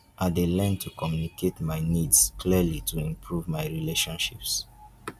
i dey learn to communicate my needs clearly to improve my relationships.